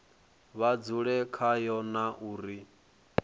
vha dzule khayo na uri